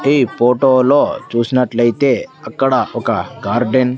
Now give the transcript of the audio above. ఈ ఫోటో లో చూసినట్లయితే అక్కడ ఒక గార్డెన్ .